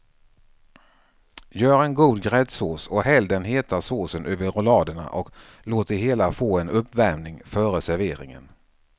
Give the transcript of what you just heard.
Gör en god gräddsås och häll den heta såsen över rulladerna och låt det hela få en uppvärmning före serveringen.